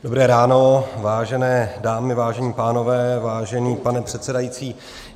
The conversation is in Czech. Dobré ráno, vážené dámy, vážení pánové, vážený pane předsedající.